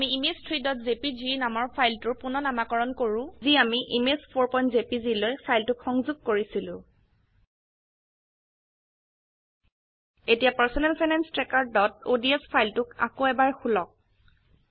আমি ইমেজ 3জেপিজি নামৰ ফাইলটোক পূণনামাকৰন কৰো যি আমি image4জেপিজি লৈ ফাইলটোক সংযোগ কৰিছিলো এতিয়া পাৰ্চনেল ফাইনেন্স trackerঅডছ ফাইলটোক আকৌ এবাৰ খোলক